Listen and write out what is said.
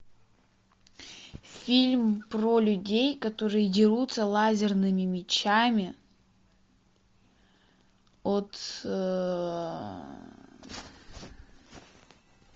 фильм про людей которые дерутся лазерными мечами от